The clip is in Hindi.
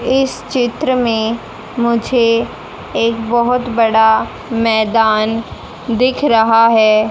इस चित्र में मुझे एक बहोत बड़ा मैदान दिख रहा हैं।